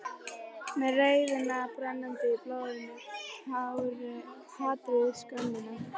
Með reiðina brennandi í blóðinu, hatrið, skömmina.